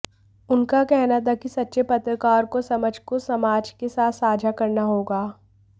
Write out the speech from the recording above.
उनका कहना था कि सच्चे पत्रकार को समझ को समाज के साथ साझा करना होगा